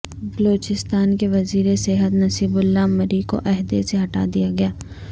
بلوچستان کے وزیرصحت نصیب اللہ مری کو عہدے سے ہٹا دیا گیا